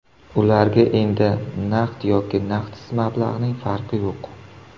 Ularga endi naqd yoki naqdsiz mablag‘ning farqi yo‘q.